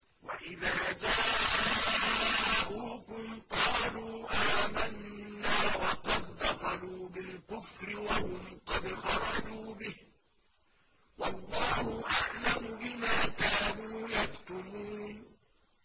وَإِذَا جَاءُوكُمْ قَالُوا آمَنَّا وَقَد دَّخَلُوا بِالْكُفْرِ وَهُمْ قَدْ خَرَجُوا بِهِ ۚ وَاللَّهُ أَعْلَمُ بِمَا كَانُوا يَكْتُمُونَ